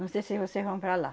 Não sei se vocês vão para lá.